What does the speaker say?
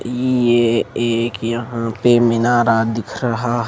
ये एक यहां पे मिनारा दिख रहा--